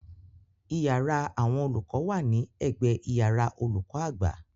Iyàrá àwọn olùkọ wa ni ẹ̀gbẹ iyàrá olùkọ àgbà.